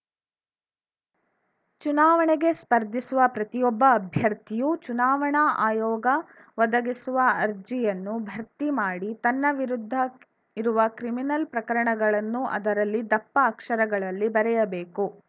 ಚುನಾವಣೆಗೆ ಸ್ಪರ್ಧಿಸುವ ಪ್ರತಿಯೊಬ್ಬ ಅಭ್ಯರ್ಥಿಯೂ ಚುನಾವಣಾ ಆಯೋಗ ಒದಗಿಸುವ ಅರ್ಜಿಯನ್ನು ಭರ್ತಿ ಮಾಡಿ ತನ್ನ ವಿರುದ್ಧ ಇರುವ ಕ್ರಿಮಿನಲ್‌ ಪ್ರಕರಣಗಳನ್ನು ಅದರಲ್ಲಿ ದಪ್ಪ ಅಕ್ಷರಗಳಲ್ಲಿ ಬರೆಯಬೇಕು